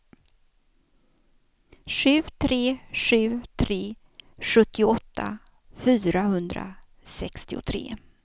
sju tre sju tre sjuttioåtta fyrahundrasextiotre